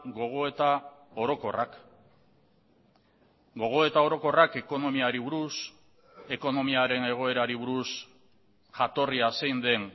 gogoeta orokorrak gogoeta orokorrak ekonomiari buruz ekonomiaren egoerari buruz jatorria zein den